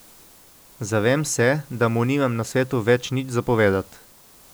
Zavem se, da mu nimam na svetu več nič za povedat.